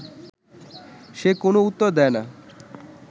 সে কোনও উত্তর দেয় না